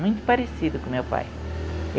Muito parecido com o meu pai.